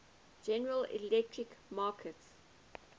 general electric markets